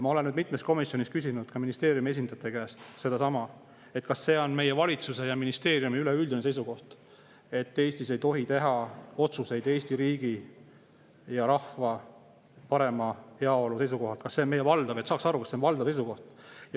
Ma olen nüüd mitmes komisjonis küsinud ka ministeeriumi esindajate käest, kas see on meie valitsuse ja ministeeriumi üleüldine seisukoht, et Eestis ei tohi teha otsuseid Eesti riigi ja rahva parema heaolu seisukohalt, et saaks aru, kas see on valdav seisukoht.